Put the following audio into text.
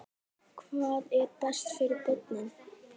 Hvað er best fyrir börnin?